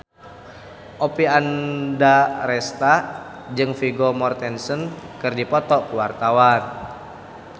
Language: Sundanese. Oppie Andaresta jeung Vigo Mortensen keur dipoto ku wartawan